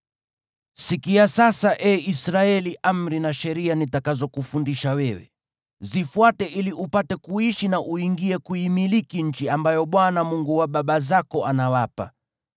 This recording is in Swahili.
Sikia sasa, ee Israeli, amri na sheria nitakazokufundisha wewe. Zifuate ili upate kuishi na uingie kuimiliki nchi ambayo Bwana , Mungu wa baba zako anawapa.